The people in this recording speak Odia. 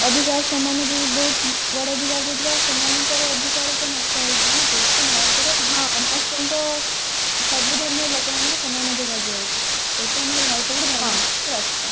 ଅଧିକାର ସମାନ ଦିଏ ବହୁତ ବଡ ଅଧିକାର ଦେଇଥିବା ଆଉ ସେମାନଙ୍କର ଅଧିକାର ତ ନଷ୍ଟ ହେଇଯିବ ନା ତ ସେଇଥିପାଇଁ ଭାରତରେ ସମସ୍ତଙ୍କ ସବୁ ଧର୍ମର ଲୋକମାନଙ୍କୁ ସମାନ ଅଧିକାର ଦିଆହେଇଛି ସେଇଥିପାଇଁ ଆମର ଭାରତ ଗୋଟେ ଧର୍ମ ନୈତିକ ରାଷ୍ଟ୍ର